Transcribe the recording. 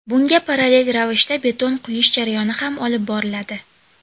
Bunga parallel ravishda beton quyish jarayoni ham olib boriladi.